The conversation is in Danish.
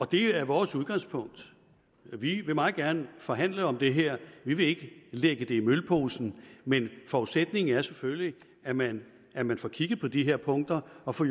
det er vores udgangspunkt vi vil meget gerne forhandle om det her vi vil ikke lægge det i mølposen men forudsætningen er selvfølgelig at man at man får kigget på de her punkter og får